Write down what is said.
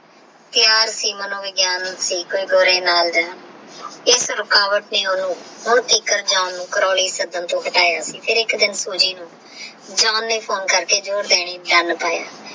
care ਸੀ ਮਾਨੋ ਵਿਗ੍ਯਾਂ ਦਾ ਗੋਰੇ ਨਾਲ ਡੇਯ ਇਸ ਰੁਕਾਵਟ ਦਾ ਓਹਨੁ ਕਰੋਲੀ ਸਦਨ ਨੂ ਬੁਲਾਯ ਫਿਰ ਏਕ ਦਿਨ ਸੂਜੀ ਨੂ ਜਾਂ ਕੇ ਫੋਨੇ ਕਰਕੇ ਬੋਲੀ ਜਾਨ ਪਾਯਾ